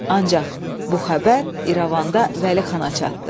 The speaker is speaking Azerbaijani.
Ancaq bu xəbər İrəvanda Vəli Xana çatdı.